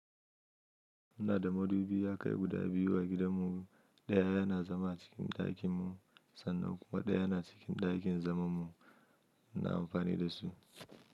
Ina da madubi yakai guda biyu a gidanmu. Ɗaya yana zama acikin ɗakinmu sannan kuma ɗaya yana cikin ɗakin zamanmu. Ina amfani da su.